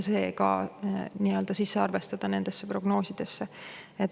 See tuleb ka prognoosidesse nii-öelda sisse arvestada.